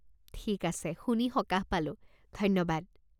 ঠিক আছে, শুনি সকাহ পালো, ধন্যবাদ!